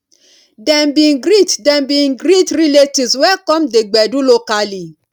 dem bin greet dem bin greet relatives wey come the gbedu locally